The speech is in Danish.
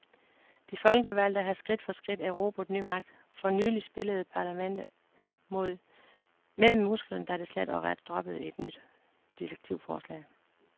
De folkevalgte har skridt for skridt erobret ny magt. For nylig spillede parlamentet med musklerne, da det slet og ret droppede et nyt direktivforslag.